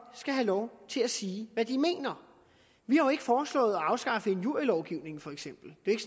skal have lov til at sige hvad de mener vi har jo ikke foreslået at afskaffe injurielovgivningen for eksempel det er